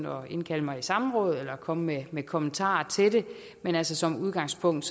at indkalde mig i samråd eller komme med kommentarer til det men altså som udgangspunkt